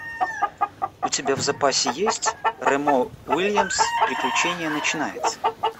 у тебя в запасе есть ремо уильямс приключение начинается